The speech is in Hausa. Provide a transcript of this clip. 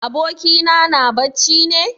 Abokina na bacci ne?